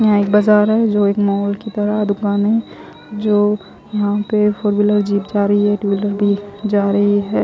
यहा एक बाजार है जो एक मॉल की तरह दुकान है जो यहा पे फोर व्हीलर जिब जा रही है ट्व व्हीलर भी जा रही है।